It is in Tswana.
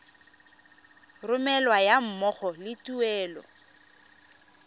romelwa ga mmogo le tuelo